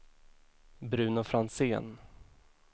Bruno Franzén